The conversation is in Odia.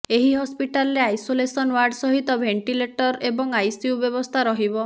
ଏହି ହସ୍ପିଟାଲରେ ଆଇସୋଲେସନ ୱାର୍ଡ ସହିତ ଭେଣ୍ଟିଲେଟର ଏବଂ ଆଇସିୟୁ ବ୍ୟବସ୍ଥା ରହିବ